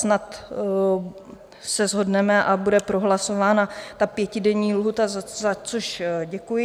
Snad se shodneme a bude prohlasována ta pětidenní lhůta, za což děkuji.